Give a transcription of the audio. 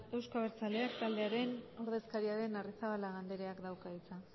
euzko abertzaleak taldearen ordezkaria den arrizabalaga andreak dauka hitza